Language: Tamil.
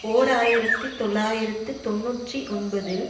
ஓர் ஆயிரத்தி தொள்ளாயிரத்து தொன்னூற்றி ஒன்பதில்